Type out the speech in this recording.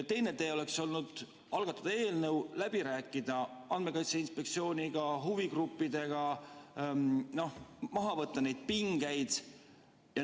Teine tee oleks olnud algatada eelnõu, läbi rääkida Andmekaitse Inspektsiooniga, huvigruppidega, maha võtta neid pingeid.